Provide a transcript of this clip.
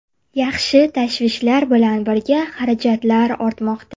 Yaxshi tashvishlar bilan birga xarajatlar ortmoqda.